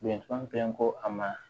Bɛnkan pɛnpo a ma